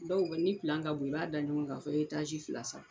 Dɔw bɛ ni pilan ka bon i b'a da ɲɔgɔn kan fɔ fila saba.